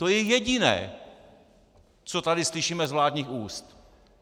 To je jediné, co tady slyšíme z vládních úst.